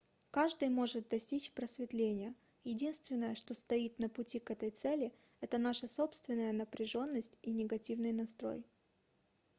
каждый может достичь просветления единственное что стоит на пути к этой цели - это наша собственная напряженность и негативный настрой